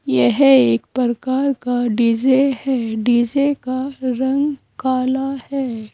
यह एक प्रकार का डी_जे है डी_जे का रंग काला है।